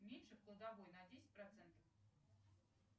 уменьши в кладовой на десять процентов